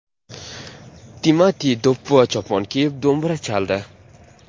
Timati do‘ppi va chopon kiyib do‘mbira chaldi.